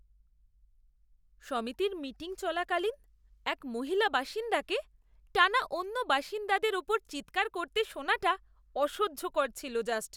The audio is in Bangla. সমিতির মিটিং চলাকালীন এক মহিলা বাসিন্দাকে টানা অন্য বাসিন্দাদের ওপর চিৎকার করতে শোনাটা অসহ্যকর ছিল জাস্ট!